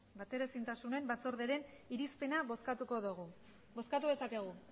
bateraezintasunen batzordearen irizpena bozkatuko dugu bozkatu dezakegu